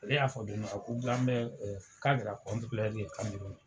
Ale y'a fɔ don dɔ la, ko Gambɛ k'a kɛra Camɛruni.